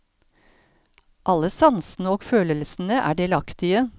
Alle sansene og følelsene er delaktige.